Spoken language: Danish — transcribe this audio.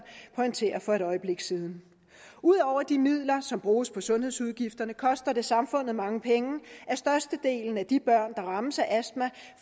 pointere for et øjeblik siden ud over de midler som bruges på sundhedsudgifterne koster det samfundet mange penge at størstedelen af de børn der rammes af astma